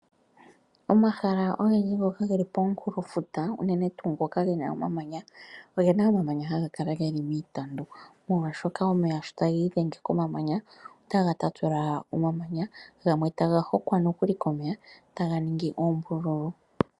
Omahala ogendji ngoka ge li komunkulofuta unene tuu ngoka ge na omamanya oge na omamanya haga kala ge li miitandu, molwashoka omeya sho taga idhenge komamanya otaga tatula omamanya go gamwe taga hokwa nokuli komeya taga ningi oombululu.